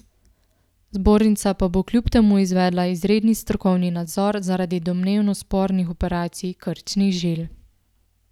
Zbornica pa bo kljub temu izvedla izredni strokovni nadzor zaradi domnevno spornih operacij krčnih žil.